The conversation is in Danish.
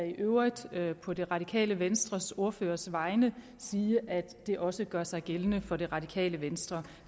i øvrigt på det radikale venstres ordførers vegne sige at det også gør sig gældende for det radikale venstre